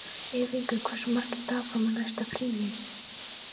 Ylfingur, hversu margir dagar fram að næsta fríi?